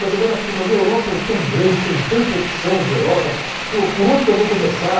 Mas agora, mas a Europa é tão grande, tem tanta opção de Europa, por por onde que eu vou começar?